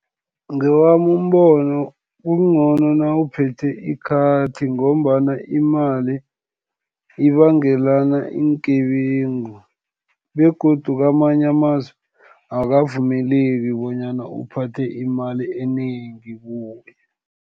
Ngewami umbono, kungcono nawuphethe ikhathi, ngombana imali ibangelana iingebengu, begodu kamanye amazwe, akavumeleki bonyana uphathe imali enengi kuwe.